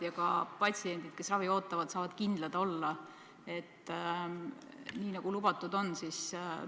Riik on lubanud, et ta need kulutused tasub lisaks, selle raha tasub lisaks.